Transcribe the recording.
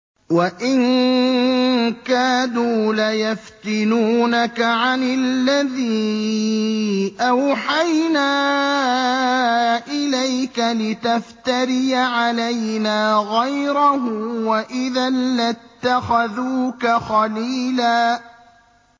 وَإِن كَادُوا لَيَفْتِنُونَكَ عَنِ الَّذِي أَوْحَيْنَا إِلَيْكَ لِتَفْتَرِيَ عَلَيْنَا غَيْرَهُ ۖ وَإِذًا لَّاتَّخَذُوكَ خَلِيلًا